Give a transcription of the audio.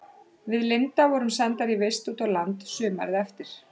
Við Linda vorum sendar í vist út á land sumarið eftir.